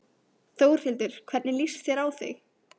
Þórhildur: Hvernig líst þér á þig?